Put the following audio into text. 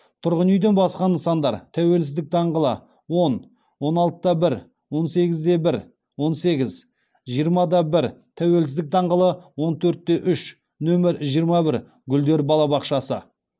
тұрғын үйден басқа нысандар тәуелсіздік даңғылы он он алты да бір он сегіз де бір он сегіз жиырма да бір тәуелсіздік даңғылы он төрт те үш нөмір жиырма бір гүлдер балабақшасы